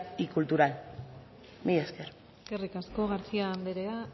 y cultural mila esker eskerrik asko garcía anderea